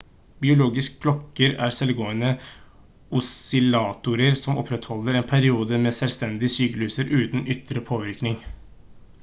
biologiske klokker er selvgående oscillatorer som opprettholder en periode med selvstendige sykluser uten ytre påvirkning